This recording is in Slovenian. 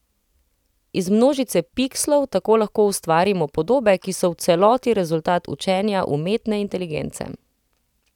Iz množice pikslov tako lahko ustvarimo podobe, ki so v celoti rezultat učenja umetne inteligence.